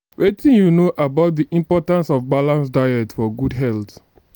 wetin you know about di importance of balanced diet for good health?